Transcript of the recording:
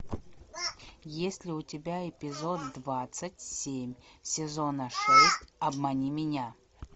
есть ли у тебя эпизод двадцать семь сезона шесть обмани меня